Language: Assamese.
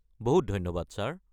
বহুত ধন্যবাদ ছাৰ।